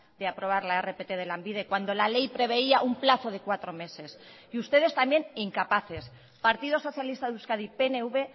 de aprobar la rpt de lanbide cuando la ley preveía un plazo de cuatro meses y ustedes también incapaces partido socialista de euskadi pnv